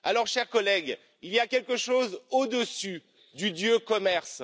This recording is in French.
Chers collègues, il y a quelque chose au dessus du dieu Commerce.